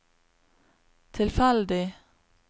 tilfeldig